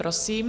Prosím.